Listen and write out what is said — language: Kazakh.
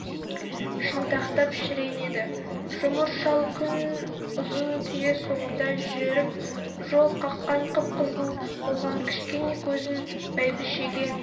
шынтақтап шіренеді жұмыр шал күн ұзын түйе соңында жүріп жол қаққан қып-қызыл болған кішкене көзін бәйбішеге